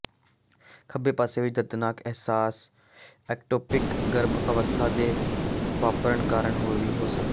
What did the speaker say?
ਖੱਬੇ ਪਾਸੇ ਵਿੱਚ ਦਰਦਨਾਕ ਅਹਿਸਾਸ ਐਕਟੋਪਿਕ ਗਰਭ ਅਵਸਥਾ ਦੇ ਵਾਪਰਨ ਕਾਰਨ ਵੀ ਹੋ ਸਕਦਾ ਹੈ